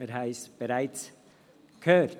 wir haben es bereits gehört.